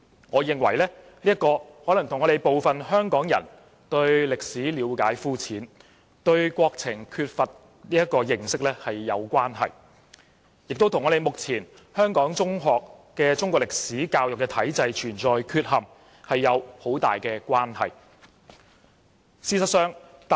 我認為，問題可能與部分香港人對歷史了解膚淺和對國情缺乏認識有關係，也與目前香港中學的中國歷史科教育體制存在缺陷有密切關係。